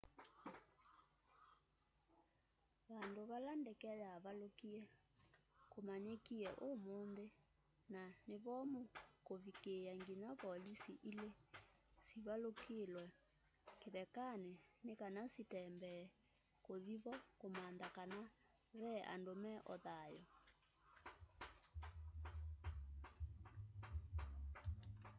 vandu vala ndeke yavalukie vamanyikie umunthi na ni vomu kuvikiia nginya volisi ili sivalukilw'e kithekani ni kana sitembee kuthi vo kumantha kana ve andu me o thayu